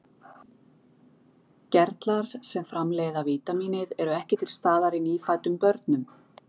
Gerlar sem framleiða vítamínið eru ekki til staðar í nýfæddum börnum.